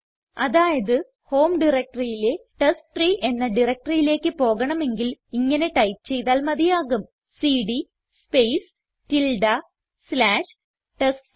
അതായത് ഹോം directoryയിലെ ടെസ്റ്റ്രീ എന്ന directoryയിലേക്ക് പോകണമെങ്കിൽ ഇങ്ങനെ ടൈപ്പ് ചെയ്താൽ മതിയാകും സിഡി സ്പേസ് സ്ലാഷ് ടെസ്റ്റ്രീ